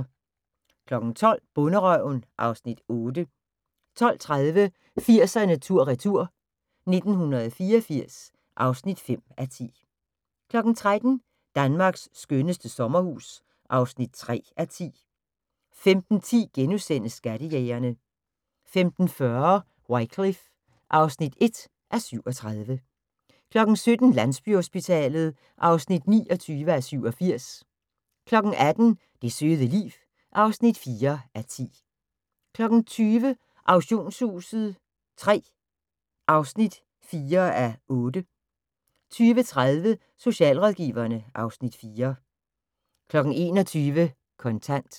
12:00: Bonderøven (Afs. 8) 12:30: 80'erne tur/retur: 1984 (5:10) 13:00: Danmarks skønneste sommerhus (3:10) 15:10: Skattejægerne * 15:40: Wycliffe (1:37) 17:00: Landsbyhospitalet (29:87) 18:00: Det søde liv (4:10) 20:00: Auktionshuset III (4:8) 20:30: Socialrådgiverne (Afs. 4) 21:00: Kontant